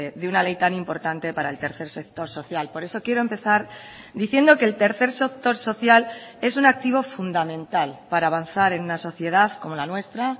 de una ley tan importante para el tercer sector social por eso quiero empezar diciendo que el tercer sector social es un activo fundamental para avanzar en una sociedad como la nuestra